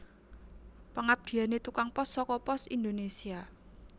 Pengabdiane tukang pos soko Pos Indonesia